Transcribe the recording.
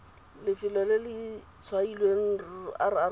lefelo le le tshwailweng rro